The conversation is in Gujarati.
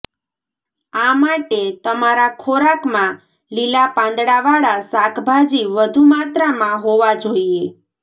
આ માટે તમારા ખોરાકમાં લીલા પાંદડાવાળા શાકભાજી વધુ માત્રામાં હોવા જોઈએ